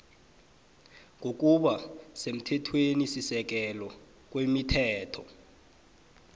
ngokuba semthethwenisisekelo kwemithetho